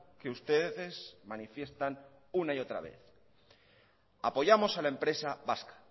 que ustedes manifiestan una y otra vez apoyamos a la empresa vasca